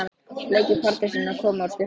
Bleiki Pardusinn að koma úr sturtu!